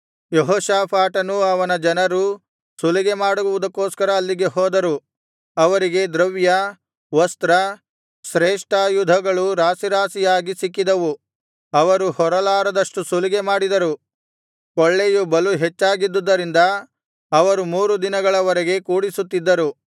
ಯೆಹೋಷಾಫಾಟನೂ ಅವನ ಜನರೂ ಸುಲಿಗೆ ಮಾಡುವುದಕ್ಕೋಸ್ಕರ ಅಲ್ಲಿಗೆ ಹೋದರು ಅವರಿಗೆ ದ್ರವ್ಯ ವಸ್ತ್ರ ಶ್ರೇಷ್ಠಾಯುಧಗಳು ರಾಶಿರಾಶಿಯಾಗಿ ಸಿಕ್ಕಿದವು ಅವರು ಹೊರಲಾರದಷ್ಟು ಸುಲಿಗೆಮಾಡಿದರು ಕೊಳ್ಳೆಯು ಬಲು ಹೆಚ್ಚಾಗಿದ್ದುದರಿಂದ ಅವರು ಮೂರು ದಿನಗಳ ವರೆಗೂ ಕೂಡಿಸುತ್ತಿದ್ದರು